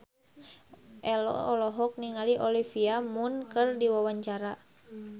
Ello olohok ningali Olivia Munn keur diwawancara